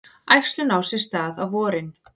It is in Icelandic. Æxlun á sér stað á vorin.